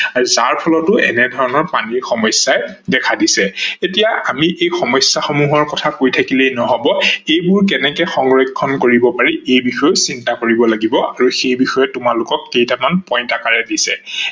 আৰু যাৰ ফলত এনে ধৰনৰ পানী সমস্যাই দেখা দিছে। এতিয়া আমি এই সমস্যা সমূহৰ কথা কৈ থাকিলেই নহব এইবোৰ কেনেকৈ সংৰক্ষন কৰিব পাৰি এই বিষয়েও চিন্তা কৰিব লাগিব আৰু সেই বিষয়ত তোমালোকক কেইটামান point আকাৰে দিছে।